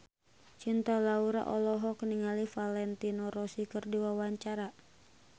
Cinta Laura olohok ningali Valentino Rossi keur diwawancara